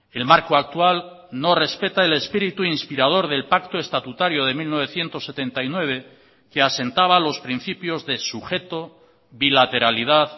el marco actual no respeta el espíritu inspirador del pacto estatutario de mil novecientos setenta y nueve que asentaba los principios de sujeto bilateralidad